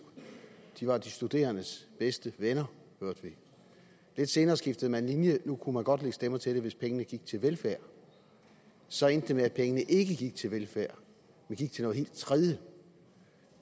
de var de studerendes bedste venner hørte vi lidt senere skiftede man linje nu kunne man godt lægge stemmer til det hvis pengene gik til velfærd så endte det med at pengene ikke gik til velfærd men gik til noget helt tredje